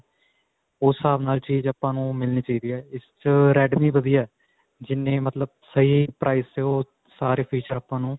ਉਸ ਹਿਸਾਬ ਨਾਲ ਚੀਜ਼ ਆਪਾਂ ਨੂੰ ਮਿਲਣੀ ਚਾਹੀਦੀ ਹੈਂ ਇਸ 'ਚ redme ਵਧੀਆ ਹੈ, ਜਿੰਨੀ ਮਤਲਬ ਸਹੀ price ਤੇ ਓਹ ਸਾਰੇ feature ਆਪਾਂ ਨੂੰ